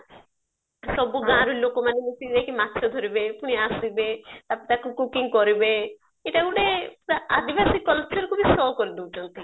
ସବୁ ଗାଁରୁ ଲୋକ ମାନେ ମିସିକି ଯାଇକି ମାଛ ଧରିବେ ଫୁନୀ ଆସିବେ ତାପରେ ତାକୁ cooking କରିବେ ଏଇଟା ଗୋଟେ ଆଦିବାସୀ culture କୁ ବି show କରିଦଉଛନ୍ତି